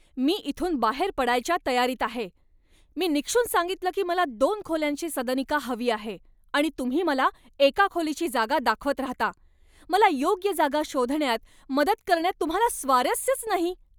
मी इथून बाहेर पडायच्या तयारीत आहे. मी निक्षून सांगितलं की मला दोन खोल्यांची सदनिका हवी आहे आणि तुम्ही मला एका खोलीची जागा दाखवत राहता. मला योग्य जागा शोधण्यात मदत करण्यात तुम्हाला स्वारस्यच नाही.